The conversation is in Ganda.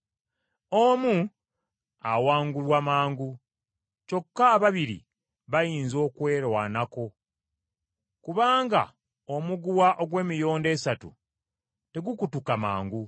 Omu awangulwa mangu, kyokka ababiri bayinza okwerwanako. Kubanga omuguwa ogw’emiyondo esatu tegukutuka mangu.